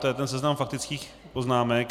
To je ten seznam faktických poznámek.